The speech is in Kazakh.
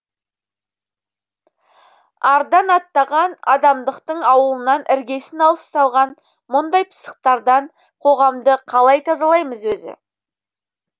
ардан аттаған адамдықтың ауылынан іргесін алыс салған мұндай пысықтардан қоғамды қалай тазалаймыз өзі